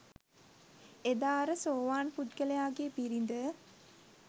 එදා අර සෝවාන් පුද්ගලයාගේ බිරිඳ